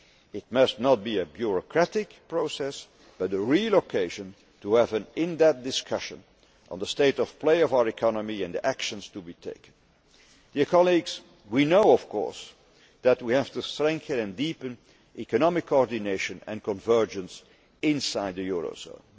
It must not be a bureaucratic process but a real occasion to have an in depth discussion on the state of play of our economy and the actions to be taken. Colleagues, we know of course that we have to strengthen and deepen economic coordination and convergence inside the eurozone.